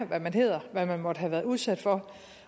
hvad man hedder hvad man måtte have været udsat for